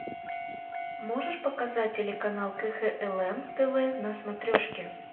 можешь показать телеканал кхлм тв на смотрешке